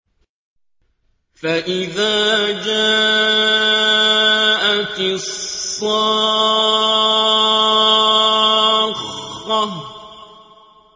فَإِذَا جَاءَتِ الصَّاخَّةُ